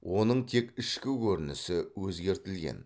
оның тек ішкі көрінісі өзгертілген